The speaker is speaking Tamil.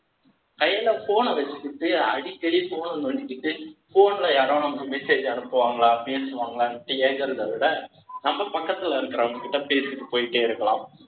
கையில phone ன வச்சுக்கிட்டு, அடிக்கடி phone பண்ணிக்கிட்டு, phone ல யாராவது நமக்கு message அனுப்புவாங்களா பேசுவாங்களான்னுட்டு கேட்கறதை விட, நம்ம பக்கத்துல இருக்கறவங்ககிட்ட பேசிட்டு போயிட்டே இருக்கலாம்.